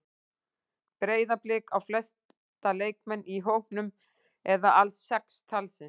Breiðablik á flesta leikmenn í hópnum eða alls sex talsins.